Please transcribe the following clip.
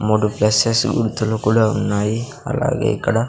మూడు ప్లసెస్ గుర్తులు కూడా ఉన్నాయి అలాగే ఇక్కడ --